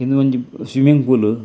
ಉಂದು ಒಂಜಿ swimming pool .